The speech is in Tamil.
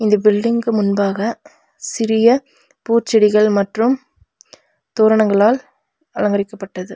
இந்த பில்டிங்க்கு முன்பாக சிறிய பூச்செடிகள் மற்றும் தோரணங்களால் அலங்கரிக்கப்பட்டது.